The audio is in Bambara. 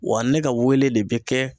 Wa ne ka weleli de be kɛ